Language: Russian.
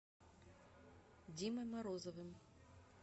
димой морозовым